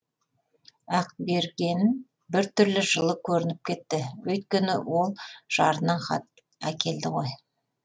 ақберген бір түрлі жылы көрініп кетті өйткені ол жарынан хат әкелді ғой